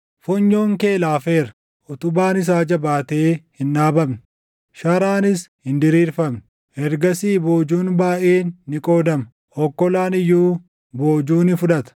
Funyoon kee laafeera; utubaan isaa jabaatee hin dhaabamne; sharaanis hin diriirfamne. Ergasii boojuun baayʼeen ni qoodama; okkolaan iyyuu boojuu ni fudhata.